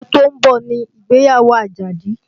Oṣù tó ń bọ̀ ni ìgbéyàwó Àjàdí